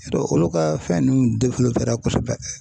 I y'a dɔn olu ka fɛn ninnu kosɛbɛ